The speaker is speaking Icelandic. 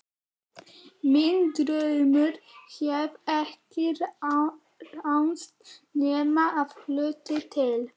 Minn draumur hefur ekki ræst nema að hluta til.